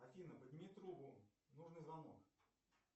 афина подними трубу нужный звонок